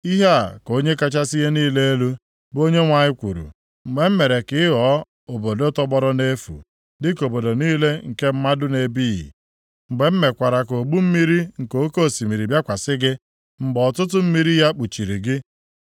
“Ihe a ka Onye kachasị ihe niile elu, bụ Onyenwe anyị kwuru: Mgbe m mere ka ị ghọọ obodo tọgbọrọ nʼefu, dịka obodo niile nke mmadụ na-ebighị, mgbe m mekwara ka ogbu mmiri nke oke osimiri bịakwasị gị, mgbe ọtụtụ mmiri ya kpuchiri gị,